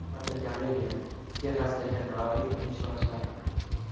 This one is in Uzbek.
Fotogalereya: Texasdagi g‘aroyib inshootlar.